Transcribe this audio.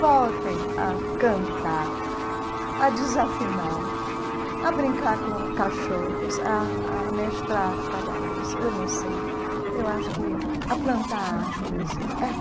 Voltem a cantar, a desafinar, a brincar com cachorros, a a amestrar cavalos, eu não sei eu acho que a plantar árvores.